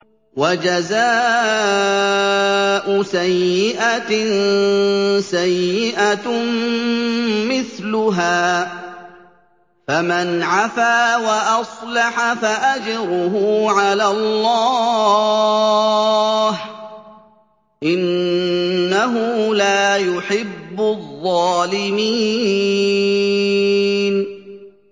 وَجَزَاءُ سَيِّئَةٍ سَيِّئَةٌ مِّثْلُهَا ۖ فَمَنْ عَفَا وَأَصْلَحَ فَأَجْرُهُ عَلَى اللَّهِ ۚ إِنَّهُ لَا يُحِبُّ الظَّالِمِينَ